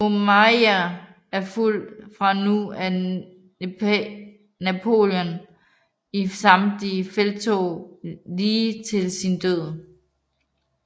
Brumaire og fulgte fra nu af Napoleon i samtlige felttog lige til sin død